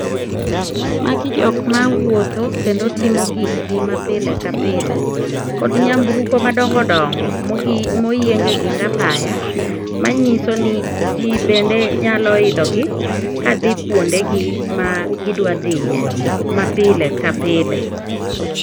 Magi jok mawuotho kendo timo gikgi mapile ka pile kod nyamburko madongo dongo moyieng e ging apaya, manyiso ni ji bende nyalo idhogi kadhi kwondegi ma gidwa dhiye mapile ka pile.